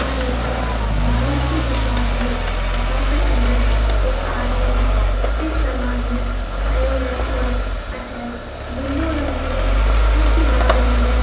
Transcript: यहाँ एक नाई की दुकान है जका के अंदर एक आदमी कटिंग करवाने आयो है और अठे ब्लू रंग की कुर्सी लाग री है।